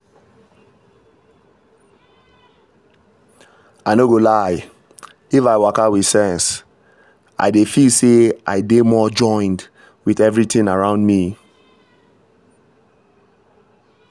i no go lie — if i waka with sense i dey feel say i dey more joined with everything around me.